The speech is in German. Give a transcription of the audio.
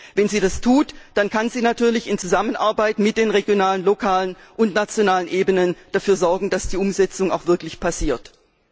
Wenn sie das tut, dann kann sie natürlich in Zusammenarbeit mit den regionalen, lokalen und nationalen Ebenen dafür sorgen, dass die Umsetzung auch wirklich erfolgt.